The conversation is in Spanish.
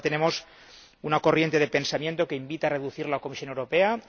Ahora tenemos una corriente de pensamiento que invita a reducir la Comisión Europea.